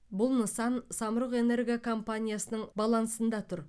бұл нысан самұрық энерго компаниясының балансында тұр